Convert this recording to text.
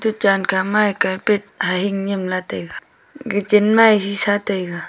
chankha ma yi carpet hahing nyimla taiga gachen ma yi hisa taiga.